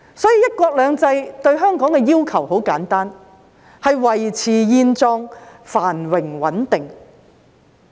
所以，"一國兩制"對香港的要求很簡單，便是"維持現狀，繁榮穩定"。